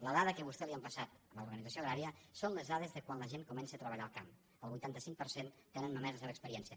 la dada que a vostè li ha passat l’organització agrària són les dades de quan la gent comença a treballar al camp el vuitanta cinc per cent tenen només la seva experiència